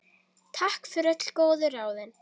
Takk fyrir öll góðu ráðin.